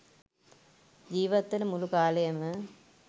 ජීවත් වන මුළු කාලයම